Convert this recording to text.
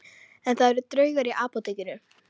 En það eru draugar í Apótekinu